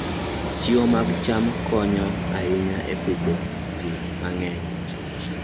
Chiwo mag cham konyo ahinya e pidho ji mang'eny.